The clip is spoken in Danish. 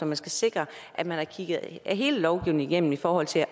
man skal sikre at man har kigget hele lovgivningen igennem i forhold til